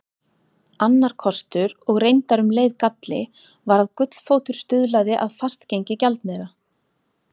Annar kostur og reyndar um leið galli var að gullfótur stuðlaði að fastgengi gjaldmiðla.